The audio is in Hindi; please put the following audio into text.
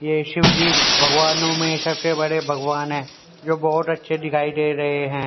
ये शिव जी भगवानों में सबसे बड़े भगवान है जो बहोत अच्छे दिखाई दे रहे हैं।